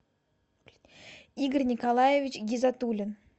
игорь николаевич гизатулин